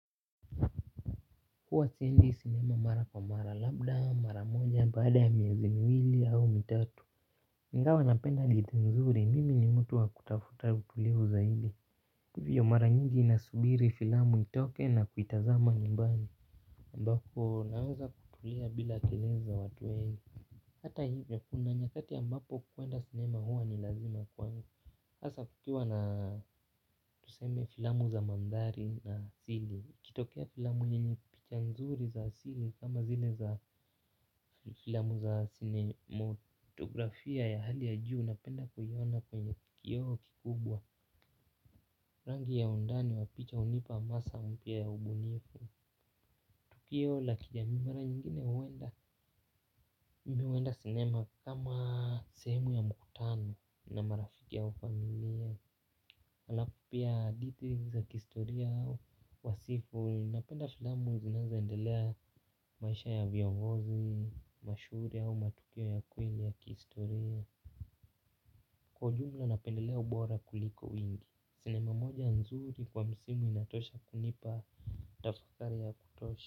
Huwa siendi sinema mara kwa mara labda mara moja baada ya miezi miwili au mitatu, ingawa napenda nzuri mimi ni mtu wa kutafuta utulivu zaidi. Hivyo, mara nyingi nasubiri filamu itoke na kuitazama nyumbani ambapo, naweza kutulia bila kelele za watu wengi. Hata hivyo kuna nyakati ambapo kuenda sinema huwa ni lazima kwangu hasa kukiwa na tuseme filamu za mandhari na asili ikitokea filamu nini picha nzuri za asili kama zile za filamu za sinemotografia ya hali ya juu napenda kuiona kwenye kio kikubwa rangi ya undani wa picha unipa masa mpya ya ubunifu. Tukio la kijamii mara nyingine huenda huenda sinema kama sehemu ya mkutano na marafiki au familia. Alafu pia, hadhiti za kistoria au Wasifu. Napenda filamu zinazoendelea. Maisha ya viogozi mashuhuri au matukio ya kweli ya kihistoria. Kwa jumla napendelea ubora kuliko wingi. Sinema moja nzuri kwa msimu inatosha kunipa tafakari ya kutosha.